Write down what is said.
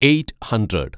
eight hundred